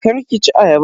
Kar ki ci ayaban.